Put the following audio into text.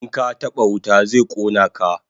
In ka taba wuta zai kona ka